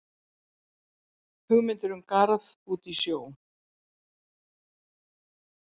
Hugmyndir um garð út í sjó